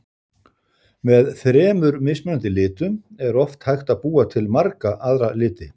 Með þremur mismunandi litum er oft hægt að búa til marga aðra liti.